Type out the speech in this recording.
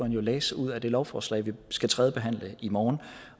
læse ud af det lovforslag vi skal tredjebehandle i morgen